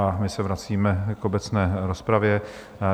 A my se vracíme k obecné rozpravě.